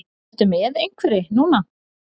Ertu með einhverri núna?